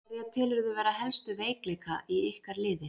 Hverja telurðu vera helstu veikleika í ykkar liði?